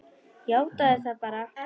Játaðu það bara!